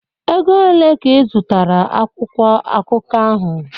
Ego ole ka izụtara akwụkwọ akụkọ ahụ?